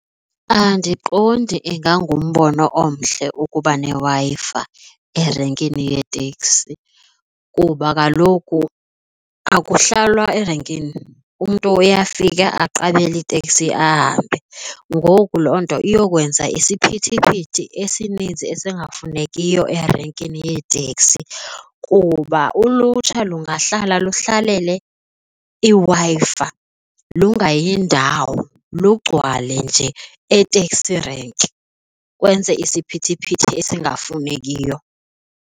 Andiqondi ingangumbono omhle ukuba neWi-Fi erenkini yeeteksi kuba kaloku akuhlalwa erenkini. Umntu uyafika aqaphele iteksi ahambe. Ngoku loo nto iyokwenza isiphithiphithi esininzi esingafunekiyo erenkini yeeteksi kuba ulutsha lungahlala luhlale iWi-Fi lungayi ndawo, lugcwale nje e-taxi rank lwenze isiphithiphithi esingafunekiyo.